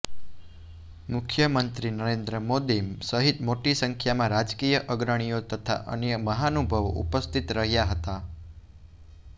મુખ્યમંત્રી નરેન્દ્ર મોદી સહિત મોટી સંખ્યામાં રાજકીય અગ્રણીઓ તથા અન્ય મહાનુભાવો ઉપસ્થિત રહ્યા હતા